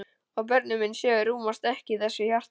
Og börnin mín sjö rúmast ekki í þessu hjarta.